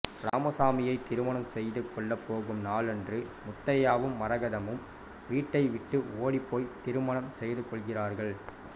ராமசாமியை திருமணம் செய்துகொள்ளப் போகும் நாளன்று முத்தையாவும் மரகதமும் வீட்டை விட்டு ஓடிப்போய் திருமணம் செய்து கொள்கிறார்கள்